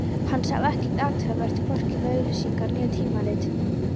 Hann sá ekkert athugavert, hvorki við auglýsingarnar né tímaritin.